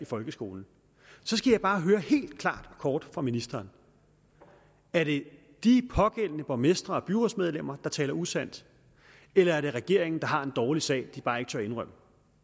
folkeskolen så skal jeg bare høre helt klart og kort fra ministeren er det de pågældende borgmestre og byrådsmedlemmer der taler usandt eller er det regeringen der har en dårlig sag den bare ikke tør indrømme